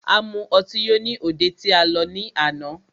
A mu ọtí yó ní òde tí a lọ ní àná.